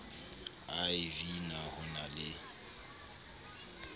iv na ho na le